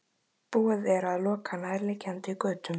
Búið er að loka nærliggjandi götum